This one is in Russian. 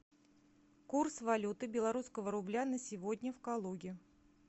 курс валюты белорусского рубля на сегодня в калуге